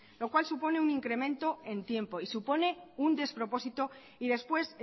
lo cual supone un incremento en tiempo y supone un despropósito y después